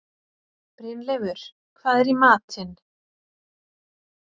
Brynleifur, hvað er í matinn?